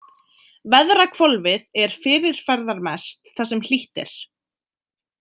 Veðrahvolfið er fyrirferðarmest þar sem hlýtt er.